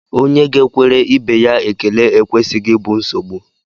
Onye ga-ekwere ibe ya ekele ekwesịghị ịbụ nsogbu